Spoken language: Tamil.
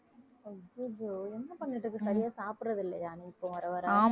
அய்யய்யோ என்ன பண்ணிட்டு இருக்க சரியா சாப்பிடுறது இல்லையா நீ இப்போ வர வர